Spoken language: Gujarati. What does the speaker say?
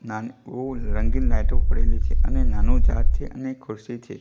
નાનકડું રંગીન લાઈટો પડેલી છે અને નાનો જાળ છે અને ખુરશી છે.